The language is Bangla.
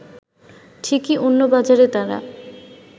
ঠিকই অন্য বাজারে তারা